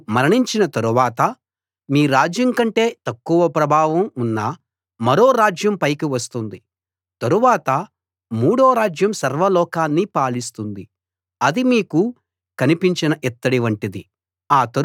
మీరు మరణించిన తరవాత మీ రాజ్యం కంటే తక్కువ ప్రభావం ఉన్న మరో రాజ్యం పైకి వస్తుంది తరువాత మూడో రాజ్యం సర్వలోకాన్ని పాలిస్తుంది అది మీకు కనిపించిన ఇత్తడి వంటిది